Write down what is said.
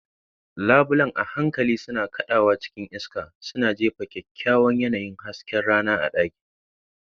Labulen a hankali suna kaɗawa cikin iska, suna jefa kyawawan yanayin hasken rana a ɗakin.